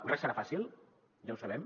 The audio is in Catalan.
res serà fàcil ja ho sabem